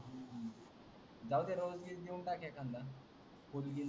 जाऊदे रोज गीज देऊन टाक एकांदा